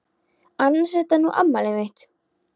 Annars er þetta nú afmælið mitt.